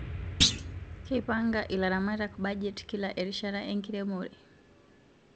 Keipanga ilaramatak bajet kila erishata enkiremore